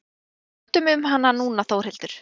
Láttu mig um hana núna Þórhildur.